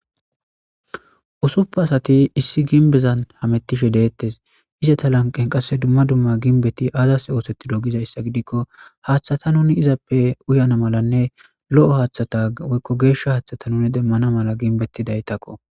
Ussupun asati issi ginbezan hamutishe dettes izeta lanqen qase dumma dumma ginbeti azas othetido gizayissa gidikko haththata nuni izappe uyanasinne Lo'o haththata woyikko geshsha haththata demana mala ginbetidayitakko